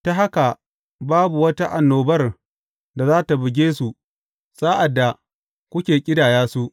Ta haka babu wata annobar da za tă buge su sa’ad da kuke ƙidaya su.